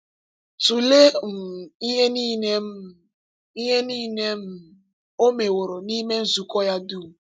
Tụlee um ihe niile um ihe niile um ọ meworo n’ime nzukọ ya dum!